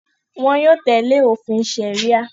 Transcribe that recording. wọn yóò tẹ̀lé òfin sẹ̀ríà.